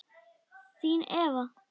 Þín Eva